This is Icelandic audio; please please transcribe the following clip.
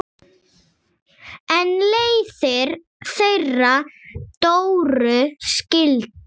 En leiðir þeirra Dóru skildu.